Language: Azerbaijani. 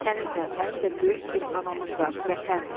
Sənin də, mənim də böyük bir anamız var – Vətən.